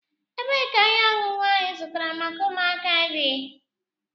Ebeé ka ihe ọṅụṅụ áhù ị zụtara maka ụmụaka di?